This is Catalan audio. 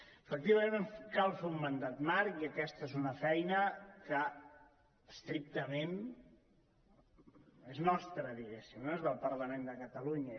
efectivament cal fer un mandat marc i aquesta és una feina que estrictament és nostra diguéssim no és del parlament de catalunya